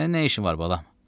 Sənin nə işin var balam?